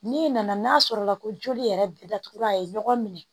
N'i nana n'a sɔrɔla ko joli yɛrɛ datugula ye ɲɔgɔn minɛ